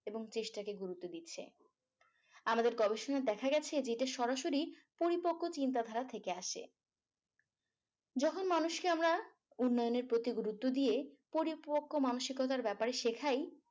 এবং চেষ্টাকে গুরুত্ব দিচ্ছে। আমাদের পড়ার সময় দেখা গেছে যে এটা সরাসরি পরিপক্ক চিন্তাধারা থেকে আসছে যখন মানুষকে আমরা উন্নয়নের প্রতি গুরুত্ব দিয়ে পরিপক্ক মানুষ গড়ার ব্যাপারে শেখাই।